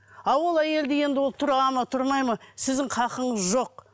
ал ол әйелді енді ол тұрады ма тұрмайды ма сіздің хақыңыз жоқ